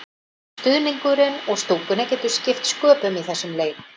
Stuðningurinn úr stúkunni getur skipt sköpum í þessum leik.